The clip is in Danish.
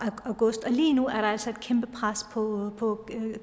og august og lige nu er der altså et kæmpe pres på på